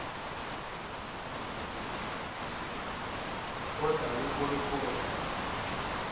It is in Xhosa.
odale olu kholo